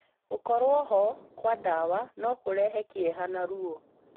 Gũkorwo ho kwa ndawa no kũrehe kĩeha na ruo.